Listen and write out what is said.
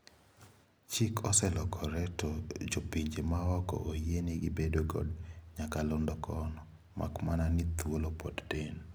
Chik oselokro to jopinje maoko oyiene gi bedo kod nyakalondo kono. Makmana ni htuolo pod tin.